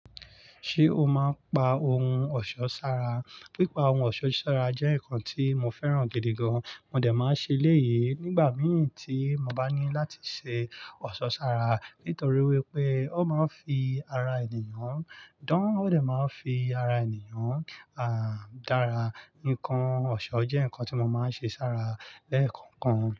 Ṣé o máa ń pa ohun ọ̀ṣọ́ sára? Pípa ohun ọ̀ṣọ́ sára jẹ́ nǹkan tí mo fẹ́ràn gidi gan. Mo dẹ̀ máa ń ṣeléyi nígbà mí ì tí mo bá ní láti ṣe ọ̀ṣọ́ sára nítorí wípé ó máa ń fi ara ènìyàn, dań ó dẹ̀ máa ń fi ara ènìyàn à dára. Nnkàn ọ̀ṣọ́ jẹ́ ǹnkan tí mo máa ń ṣe sára lẹ́kọ̀ọ̀kan.